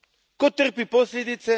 Tko trpi posljedice?